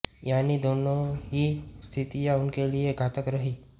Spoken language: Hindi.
यानी दोनों ही स्थितियां उनके लिए घातक रही हैं